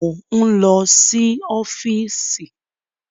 Mò ń lọ sí ọ́fíìsì.